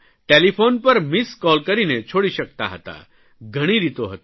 telephone પર missed call કરીને છોડી શકતા હતા ઘણી રીતો હતો